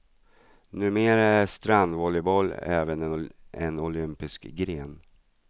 Numera är strandvolleyboll även en olympisk gren.